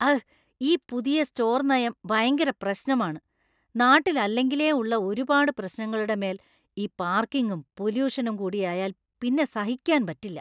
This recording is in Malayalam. അഘ്! ഈ പുതിയ സ്റ്റോർ നയം ഭയങ്കര പ്രശ്നമാണ്. നാട്ടിൽ അല്ലെങ്കിലേ ഉള്ള ഒരുപാട് പ്രശ്നങ്ങളുടെ മേൽ ഈ പാർക്കിങ്ങും പൊലൂഷനും കൂടിയായാൽ പിന്നെ സഹിക്കാൻ പറ്റില്ല.